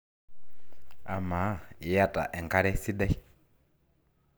amaa iyata enkare sidai?